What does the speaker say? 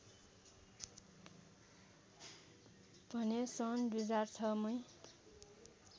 भने सन् २००६ मै